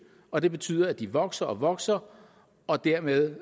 og det betyder at de vokser og vokser og dermed